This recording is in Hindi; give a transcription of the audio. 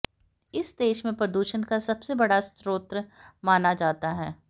इसे देश में प्रदूषण का सबसे बड़ा स्रोत माना जाता है